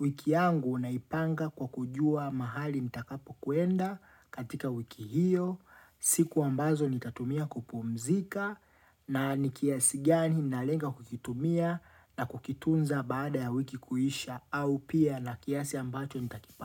Wiki yangu naipanga kwa kujua mahali m nitakapo kuenda katika wiki hiyo, siku ambazo nitatumia kupumzika na nikiasi gani nalenga kukitumia na kukitunza baada ya wiki kuhisha au pia na kiasi ambacho nitakipa.